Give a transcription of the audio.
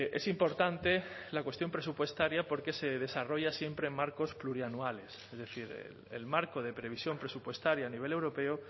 es importante la cuestión presupuestaria porque se desarrolla siempre en marcos plurianuales es decir el marco de previsión presupuestaria a nivel europeo